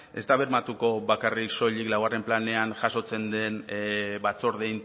ez da bermatuko bakarrik soilik laugarren planean jasotzen den batzorde